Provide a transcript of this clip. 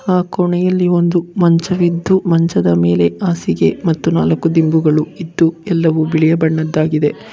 ಆ ಕೋಣೆಯಲ್ಲಿ ಒಂದು ಮಂಚವಿದ್ದು ಮಂಚದ ಮೇಲೆ ಹಾಸಿಗೆ ಮತ್ತು ನಾಲ್ಕು ದಿಂಬಗಳು ಇದ್ದು ಎಲ್ಲವೂ ಬಿಳಿ ಬಣ್ಣದಾಗಿದೆ.